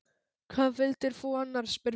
Hvað vildir þú annars? spurði Geir.